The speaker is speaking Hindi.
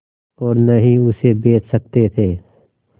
और न ही उसे बेच सकते थे